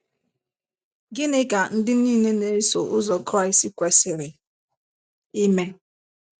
Gịnị ka ndị niile na - eso ụzọ Kraịst kwesịrị ime?